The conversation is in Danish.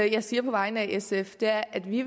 jeg siger på vegne af sf er at vi